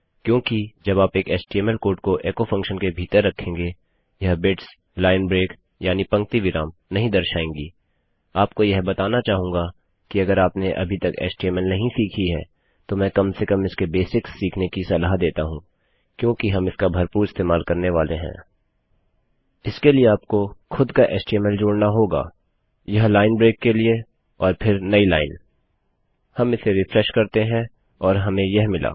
क्योंकि जब आप एक एचटीएमएल कोड को एचो फंक्शन के भीतर रखेंगे यह बिट्स लाइन ब्रेक यानि पंक्ति विराम नहीं दर्शाएँगीआपको यह बताना चाहूँगी कि अगर आपने अभी तक एचटीएमएल नहीं सीखी है तो मैं कम से कम इसके बेसिक्स सीखने कि सलाह देती हूँ क्योंकि हम इसका भरपूर इस्तेमाल करने वाले हैं इसके लिए आपको खुद का एचटीएमएल जोड़ना होगा यह लाइन ब्रेक के लिए और फिर नयी लाइन हम इसे रिफ्रेश करते है और हमें यह मिला